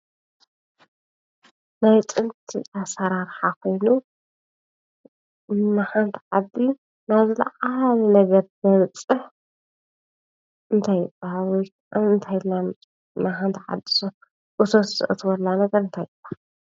ናይ ጥንቲ ኣሰራርሓ ኮይኑ ንሓንቲ ዓዲ ናብ ዝለዓለ ነገር ዘብፅሕ እንታይ ይባሃል? ወይ ከዓ እንታይ ኢልና ንፅወዖ? ንሓቲ ዓዲ እቶት ዘእትወላ እንታይ ይባሃል?